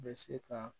Bɛ se ka